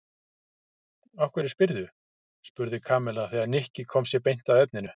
Af hverju spyrðu? spurði Kamilla þegar Nikki kom sér beint að efninu.